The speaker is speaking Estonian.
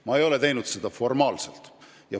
Ma ei ole aga seda teinud formaalselt.